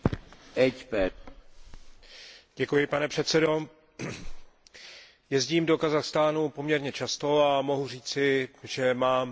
Pane předsedající, jezdím do Kazachstánu poměrně často a mohu říci, že mám odlišné názory, než má kolega Murphy.